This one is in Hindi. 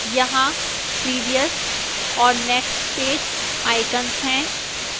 यहां previous और next page icons हैं